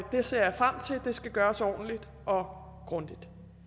det ser jeg frem til og det skal gøres ordentligt og grundigt